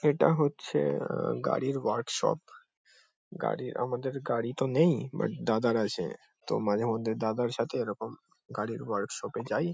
এটা হচ্ছে আ গাড়ির ওয়ার্ক শপ গাড়ির আমাদের গাড়ি তো নেই বাট দাদার আছে। তো মাঝে মধ্যে দাদার সাথে এরকম গাড়ির ওয়ার্ক শপ -এ যাই ।